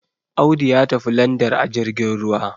Audu ya tafi London ajirgin ruwa